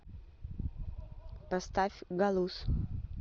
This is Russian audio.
поставь галуз